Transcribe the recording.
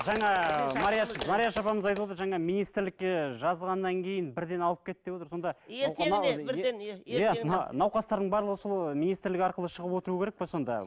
жаңа марияш марияш апамыз айтып отыр жаңа министрлікке жазғаннан кейін бірден алып кетті деп отыр сонда науқастардың барлығы сол министрлік арқылы шығып отыруы керек пе сонда